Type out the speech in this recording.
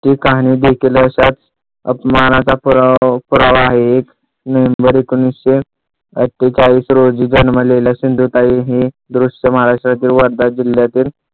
ती कहाणी देखील अशाच अपमानाचा पुरावा आहे. एक नोव्हेंबर एकोणीशे अट्ठेचाळीस रोजी जन्मलेल्या सिंधुताई हे दृश्य महाराष्ट्रातील वर्धा जिल्यातील